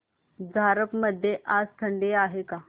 झारप मध्ये आज थंडी आहे का